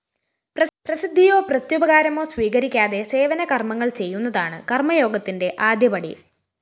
പ്രസിദ്ധിയോ പ്രത്യുപകാരമോ സ്വീകരിക്കാതെ സേവന കര്‍മ്മങ്ങള്‍ ചെയ്യുന്നതാണ് കര്‍മ്മയോഗത്തിന്റെ ആദ്യപടി